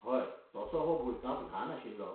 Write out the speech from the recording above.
हय, तसो हो भुंयकाप ल्हान आशिल्लो.